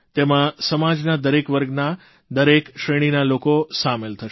તેમાં સમાજના દરેક વર્ગના દરેક શ્રેણીના લોકો સામેલ થશે